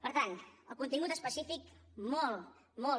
per tant el contingut específic molt molt